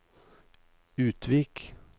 Utvik